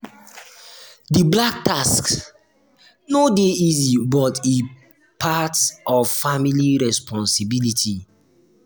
di black tax no dey easy but e part of family responsibility.